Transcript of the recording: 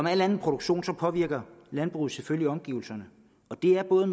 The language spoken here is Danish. al anden produktion påvirker landbruget selvfølgelig omgivelserne og det er både